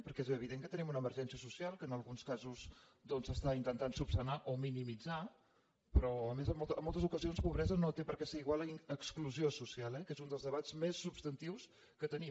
perquè és evident que tenim una emergència social que en alguns casos doncs s’està intentant resoldre o minimitzar però a més en moltes ocasions pobresa no té per què ser igual a exclusió social eh que és un dels debats més substantius que tenim